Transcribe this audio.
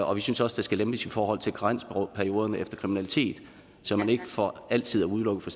og vi synes også der skal lempes i forhold til karensperioderne efter kriminalitet så man ikke for altid er udelukket fra